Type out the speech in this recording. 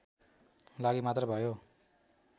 लागि मात्र भयो